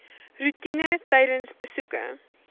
roetine tydens besoeke